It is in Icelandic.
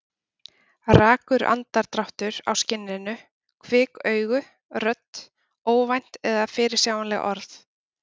Rakur andardráttur á skinninu, kvik augu, rödd, óvænt eða fyrirsjáanleg orð.